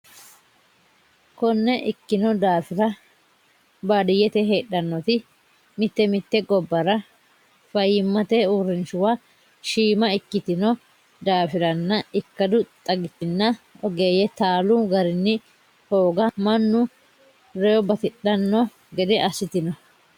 Konne ikkino daafira baadiyyete heedhannoti mite mite gobbara fayyimmate uurrinshuwa shiima ikkitino daafiranna ikkadu xagichinna ogeeyye taalu garinni hooga mannu rewo batidhanno gede assitino.